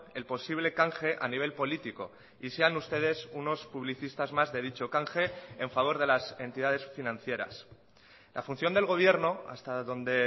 el posible canje a nivel político y sean ustedes unos publicistas más de dicho canje en favor de las entidades financieras la función del gobierno hasta donde